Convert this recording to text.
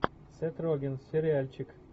сет роген сериальчик